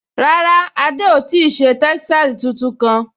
Rárá, Adé ò ti ṣe tẹ́sàlí tuntun kán